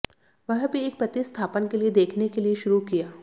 वह भी एक प्रतिस्थापन के लिए देखने के लिए शुरू किया